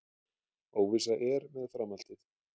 Óvissa er með framhaldið